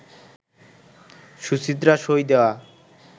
সুচিত্রার সই দেয়া